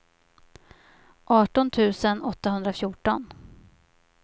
arton tusen åttahundrafjorton